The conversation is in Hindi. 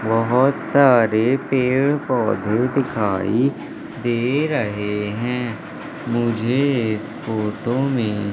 बहोत सारे पेड़ पौधे दिखाई दे रहे हैं। मुझे इस फोटो में--